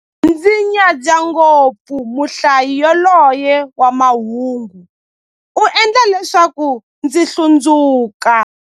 Ndzi nyadza ngopfu muhlayi yaloye wa mahungu, u endla leswaku ndzi hlundzuka.